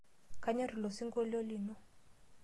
Kanyorr ilo sinkolio lino.